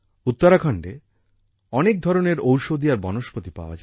উত্তরাখণ্ডে অনেক ধরনের ওষধি আর বনস্পতি পাওয়া যায়